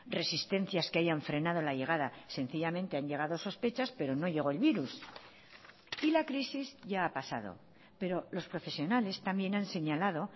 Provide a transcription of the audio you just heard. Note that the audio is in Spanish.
resistencias que hayan frenado la llegada sencillamente han llegado sospechas pero no llegó el virus y la crisis ya ha pasado pero los profesionales también han señalado